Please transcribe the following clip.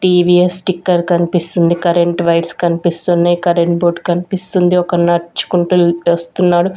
TVS sticker కనిపిస్తుంది current wires కనిపిస్తున్నాయి current board కనిపిస్తుంది ఒక నర్చుకుంటూ వస్తున్నాడు.